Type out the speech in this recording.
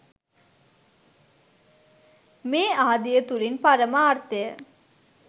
මේ ආදිය තුළින් පරමාර්ථය